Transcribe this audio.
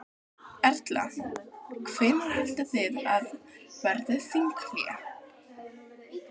Erla: Hvenær haldið þið að verði þinghlé?